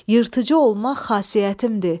Yırtıcı olmaq xasiyyətimdir.